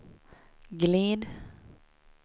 glid